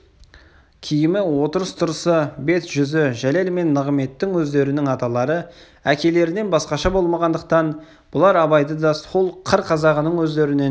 киімі отырыс-тұрысы бет-жүзі жәлел мен нығыметтің өздерінің аталары әкелерінен басқаша болмағандықтан бұлар абайды да сол қыр қазағының өздерінен